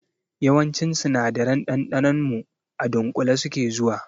Yawancin sinadaran ɗanɗanon mu a dunƙule suke zuwa